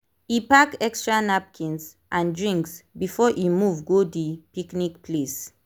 e pack extra napkins and drinks before e move go the picnic place